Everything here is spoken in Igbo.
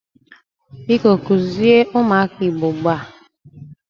Biko kuzie umuaka Igbo ugbua!